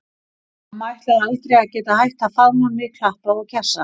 Mamma ætlaði aldrei að geta hætt að faðma mig, klappa og kjassa.